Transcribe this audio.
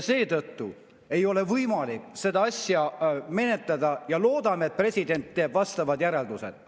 Seetõttu ei ole võimalik seda asja menetleda ja loodan, et president teeb vastavad järeldused.